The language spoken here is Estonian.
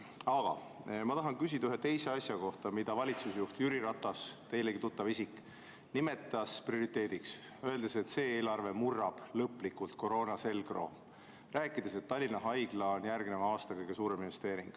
Aga ma tahan küsida ühe teise asja kohta, mida valitsusjuht Jüri Ratas, teilegi tuttav isik, nimetas prioriteediks, öeldes, et see eelarve murrab lõplikult koroona selgroo, ja rääkides, et Tallinna Haigla on järgneva aasta kõige suurem investeering.